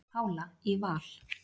Pála í Val